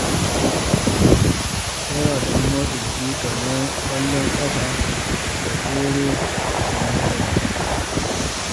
Akwai wasannin motsa jiki kamar ƙwallon ƙafa da tsere da tsalle-tsalle.